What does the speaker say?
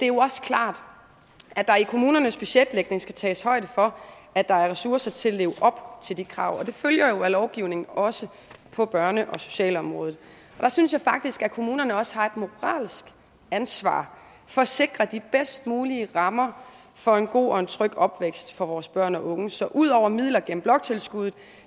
jo også klart at der i kommunernes budgetlægning skal tages højde for at der er ressourcer til at leve op til de krav og det følger af lovgivningen også på børne og socialområdet og der synes jeg faktisk at kommunerne også har et moralsk ansvar for at sikre de bedst mulige rammer for en god og en tryg opvækst for vores børn og unge så udover midler gennem bloktilskuddet